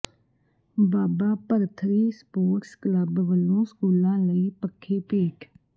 ਬਾਬਾ Bharthari sports club ਵਲੋਂ ਸਕੂਲਾਂ ਲਈ ਪੱਖੇ ਭੇਟ